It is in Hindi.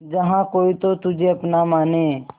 जहा कोई तो तुझे अपना माने